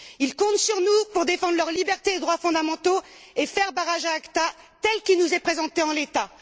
Ils comptent sur nous pour défendre leurs libertés et leurs droits fondamentaux et faire barrage à ACTA, tel qu'il nous est présenté en l'état.